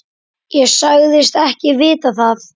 Ég sagðist ekki vita það.